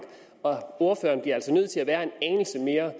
ordføreren bliver altså nødt til at være en anelse mere